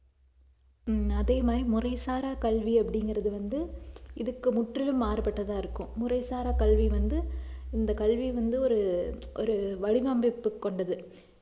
ஹம் அதே மாதிரி முறைசாரா கல்வி அப்படிங்கறது வந்து இதுக்கு முற்றிலும் மாறுபட்டதா இருக்கும் முறைசார கல்வி வந்து இந்த கல்வி வந்து ஒரு ஒரு வடிவமைப்பு கொண்டது